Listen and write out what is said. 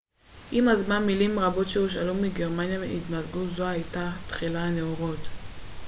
עם הזמן מילים רבות שהושאלו מגרמנית התמזגו זו הייתה תחילת הנאורות